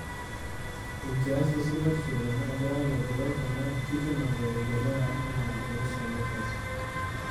Enkias esupatisho tenaa keya laigerok ena kikenoto e biashara anaa orusa lolkasi.